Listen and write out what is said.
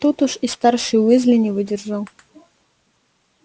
тут уж и старший уизли не выдержал